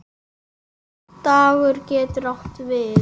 Dagur getur átt við